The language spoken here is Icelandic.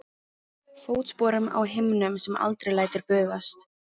Fótsporum á himnum sem aldrei lætur bugast.